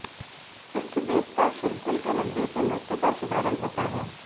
इष्ट देवता शिरगुल के मंदिर से नृत्य का शुभारंभ होता है